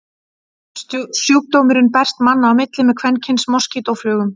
Sjúkdómurinn berst manna á milli með kvenkyns moskítóflugum.